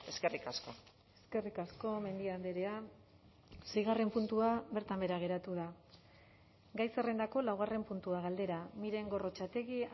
eskerrik asko eskerrik asko mendia andrea seigarren puntua bertan behera geratu da gai zerrendako laugarren puntua galdera miren gorrotxategi